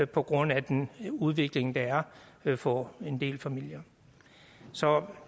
på grund af den udvikling der er for en del familier så